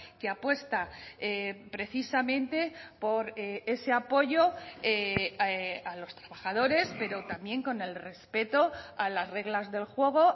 que apuesta precisamente por ese apoyo a los trabajadores pero también con el respeto a las reglas del juego